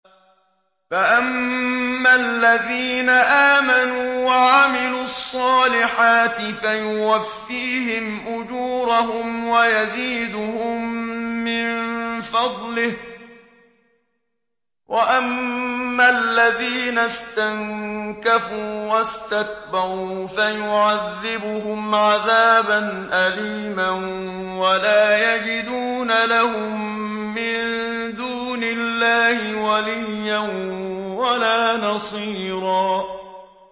فَأَمَّا الَّذِينَ آمَنُوا وَعَمِلُوا الصَّالِحَاتِ فَيُوَفِّيهِمْ أُجُورَهُمْ وَيَزِيدُهُم مِّن فَضْلِهِ ۖ وَأَمَّا الَّذِينَ اسْتَنكَفُوا وَاسْتَكْبَرُوا فَيُعَذِّبُهُمْ عَذَابًا أَلِيمًا وَلَا يَجِدُونَ لَهُم مِّن دُونِ اللَّهِ وَلِيًّا وَلَا نَصِيرًا